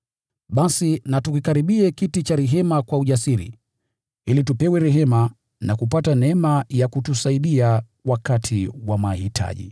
Basi na tukikaribie kiti cha rehema kwa ujasiri, ili tupewe rehema na kupata neema ya kutusaidia wakati wa mahitaji.